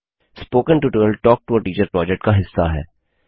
spoken tutorial talk to a teacher project का हिस्सा है